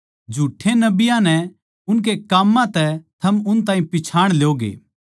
झुठ्ठे नबियाँ नै उनके काम्मां तै थम उन ताहीं पिच्छाण ल्योगे